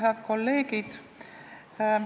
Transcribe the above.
Head kolleegid!